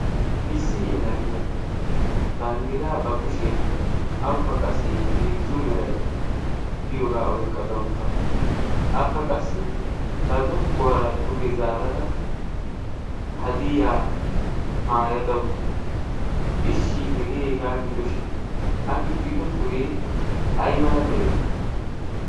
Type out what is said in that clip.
issi yela giya banddiraa ba kushiyan awukka qassi hezzu meray diyoogaa oyqqada uttaasu akka qassi ba zokkuwaara duge zaarara hadiyaa maayada uttaasu ishshi hegeeegaa gidoshin a gixxido suree ay mala meree?